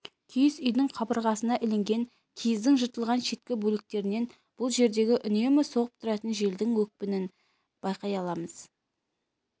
киіз үйдің қабырғасына ілінген киіздің жыртылған шеткі бөліктерінен бұл жердегі үнемі соғып тұратын желдің екпінін байқай аламыз